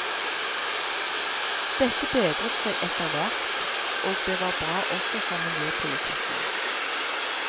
Dette bedret seg etter hvert, og det var bra også for miljøpolitikken.